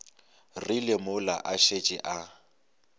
rile mola a šetše a